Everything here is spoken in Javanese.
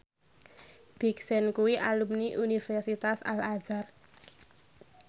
Big Sean kuwi alumni Universitas Al Azhar